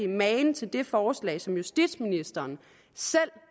magen til det forslag som justitsministeren selv